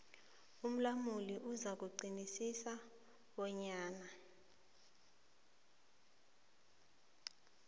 umlamuli uzakuqinisekisa bonyana